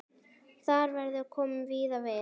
Þar verður komið víða við.